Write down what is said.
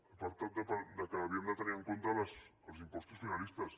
ha parlat que havíem de tenir en compte els impostos finalistes